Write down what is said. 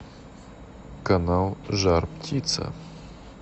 канал жар птица